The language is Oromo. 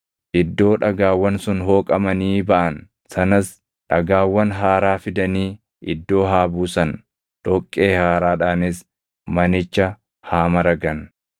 Iddoo dhagaawwan sun hooqamanii baʼan sanas dhagaawwan haaraa fidanii iddoo haa buusan; dhoqqee haaraadhaanis manicha haa maragan.